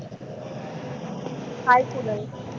हाय Kunal.